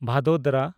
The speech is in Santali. ᱵᱷᱟᱫᱳᱫᱚᱨᱟ